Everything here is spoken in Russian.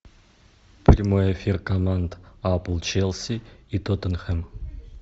прямой эфир команд апл челси и тоттенхэм